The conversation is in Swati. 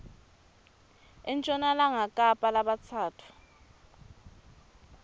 enshonalanga kapa labatsatfu